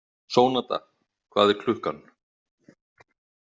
Sónata, hvað er klukkan?